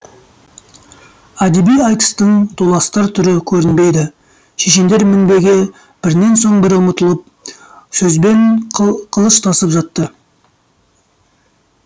әдеби айтыстың толастар түрі көрінбейді шешендер мінбеге бірінен соң бірі ұмтылып сөзбен қылыштасып жатты